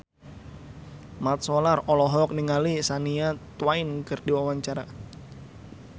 Mat Solar olohok ningali Shania Twain keur diwawancara